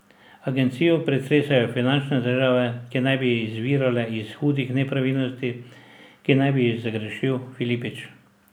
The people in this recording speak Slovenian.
Agencijo pretresajo finančne težave, ki naj bi izvirale iz hudih nepravilnosti, ki naj bi jih zagrešil Filipič.